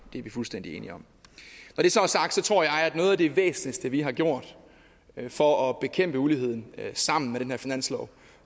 det er vi fuldstændig enige om når det så er sagt tror jeg at noget af det væsentligste vi har gjort for at bekæmpe uligheden sammen i den her finanslov